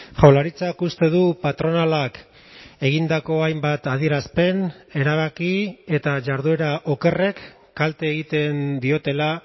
jaurlaritzak uste du patronalak egindako hainbat adierazpen erabaki eta jarduera okerrek kalte egiten diotela